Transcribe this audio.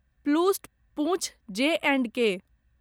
प्लूस्ट पूँछ जे एण्ड के